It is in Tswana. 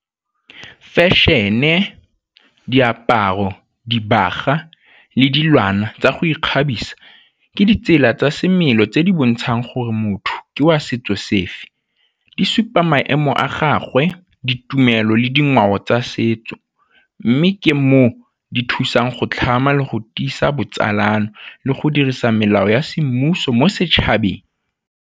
Fashion-e, diaparo, dibagwa le dilwana tsa go ikgabisa ke ditsela tsa semelo tse di bontshang gore motho ke wa setso sefe, di supa maemo a gagwe, ditumelo le dingwao tsa setso. Mme ke moo di thusang go tlhama le go tiisa botsalano le go dirisa melao ya semmuso mo setšhabeng.